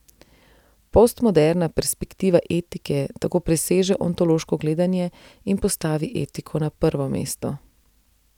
Postmoderna perspektiva etike tako preseže ontološko gledanje in postavi etiko na prvo mesto.